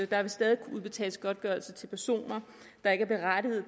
der vil stadig kunne udbetales godtgørelse til personer der ikke er berettiget